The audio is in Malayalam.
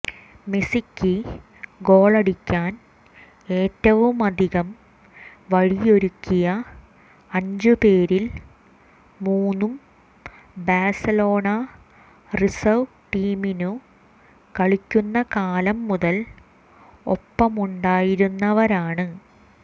മെസ്സിക്ക് ഗോളടിക്കാൻ ഏറ്റവുമധികം വഴിയൊരുക്കിയ അഞ്ചു പേരിൽ മൂന്നും ബാഴ്സലോണ റിസർവ് ടീമിനു കളിക്കുന്ന കാലം മുതൽ ഒപ്പമുണ്ടായിരുന്നവരാണ്